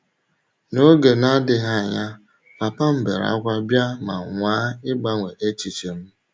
N’oge na - adịghị anya, papa m beere ákwá bịa ma nwaa ịgbanwe echiche m.